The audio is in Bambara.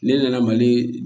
Ne nana mali